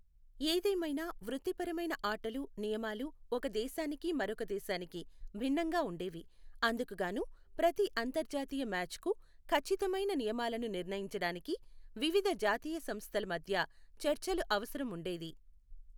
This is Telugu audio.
ఏదేమైనా, వృత్తిపరమైన ఆటలు నియమాలు ఒక దేశానికి మరొక దేశానికి భిన్నంగా ఉండేవి, అందుకుగాను ప్రతి అంతర్జాతీయ మ్యాచ్కు ఖచ్చితమైన నియమాలను నిర్ణయించడానికి వివిధ జాతీయ సంస్థల మధ్య చర్చలు అవసరం ఉండేది.